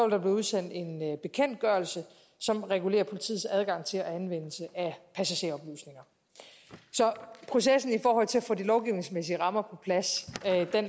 der blive udsendt en bekendtgørelse som regulerer politiets adgang til anvendelse af passageroplysninger så processen i forhold til at få de lovgivningsmæssige rammer på plads